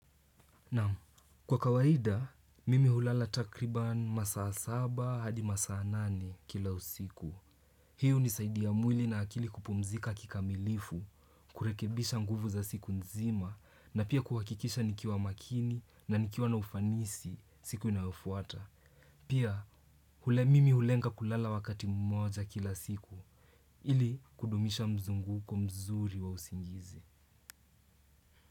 Naam, kwa kawaida, mimi hulala takriban masaa saba hadi masaa nane kila usiku. Hii hunisaidia mwili na akili kupumzika kikamilifu, kurekebisha nguvu za siku nzima, na pia kuhakikisha nikiwa makini na nikiwa na ufanisi siku inayofuata. Pia, mimi hulenga kulala wakati mmoja kila siku, ili kudumisha mzunguko mzuri wa usingizi.